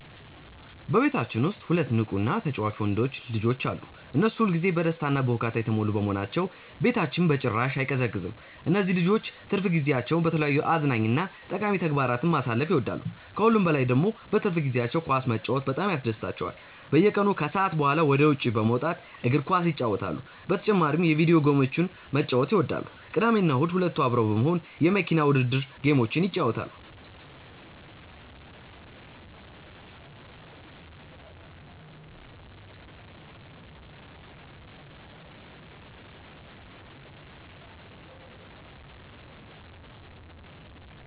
በቤታችን ውስጥ ሁለት ንቁ እና ተጫዋች ወንዶች ልጆች አሉ። እነሱ ሁል ጊዜ በደስታ እና በሁካታ የተሞሉ በመሆናቸው ቤታችን በጭራሽ አይቀዘቅዝም። እነዚህ ልጆች ትርፍ ጊዜያቸውን በተለያዩ አዝናኝ እና ጠቃሚ ተግባራት ማሳለፍ ይወዳሉ። ከሁሉም በላይ ደግሞ በትርፍ ጊዜያቸው ኳስ መጫወት በጣም ያስደስታቸዋል። በየቀኑ ከሰዓት በኋላ ወደ ውጭ በመውጣት እግር ኳስ ይጫወታሉ። በተጨማሪም የቪዲዮ ጌሞችን መጫወት ይወዳሉ። ቅዳሜና እሁድ ሁለቱ አብረው በመሆን የመኪና ውድድር ጌሞችን ይጫወታሉ።